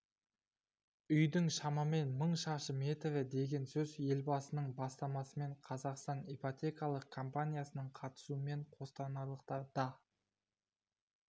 үйдің шамамен мың шаршы метрі деген сөз елбасының бастамасымен қазақстан ипотекалық компаниясының қатысуымен қостанайлықтар да